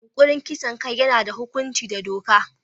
Yunkurin kisan kai yana da hukunci da doka.